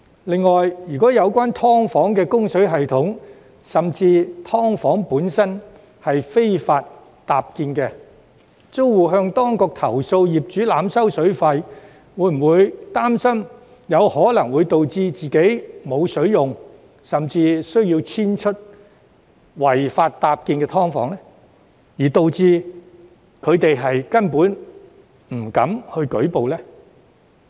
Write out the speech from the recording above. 另外，如所涉"劏房"的供水系統甚至"劏房"本身屬非法搭建，租戶向當局投訴業主濫收水費，又會否擔心可能會導致自己無水可用，甚或需要遷出違法搭建的"劏房"，因而令他們根本不敢舉報呢？